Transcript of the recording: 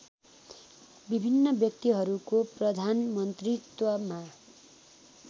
विभिन्न व्यक्तिहरूको प्रधानमन्त्रीत्वमा